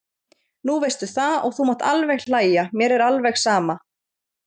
Nú veistu það og þú mátt alveg hlæja, mér er alveg sama.